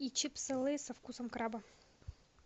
и чипсы лейс со вкусом краба